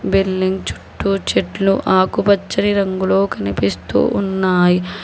Building చుట్టూ చెట్లు ఆకుపచ్చని రంగులో కనిపిస్తూ ఉన్నాయి.